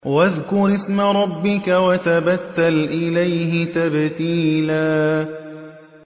وَاذْكُرِ اسْمَ رَبِّكَ وَتَبَتَّلْ إِلَيْهِ تَبْتِيلًا